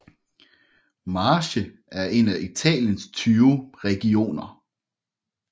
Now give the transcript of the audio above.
Marche er en af Italiens 20 regioner